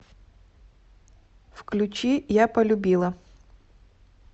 включи я полюбила